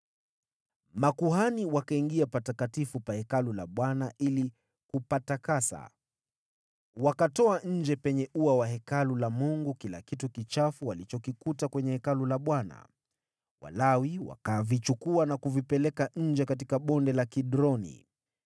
Makuhani wakaingia patakatifu pa Hekalu la Bwana ili kupatakasa. Wakatoa nje penye ua wa Hekalu la Mungu kila kitu kichafu walichokikuta kwenye Hekalu la Bwana . Walawi wakavichukua na kuvipeleka nje katika Bonde la Kidroni.